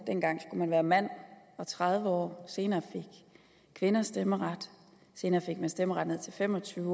dengang skulle man være mand og tredive år senere fik kvinder stemmeret senere fik man stemmeret ned til fem og tyve år